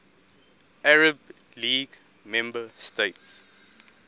arab league member states